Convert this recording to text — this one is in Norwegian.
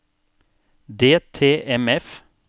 DTMF